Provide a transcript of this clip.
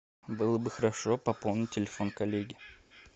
было бы хорошо пополнить телефон коллеги